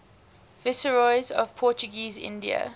viceroys of portuguese india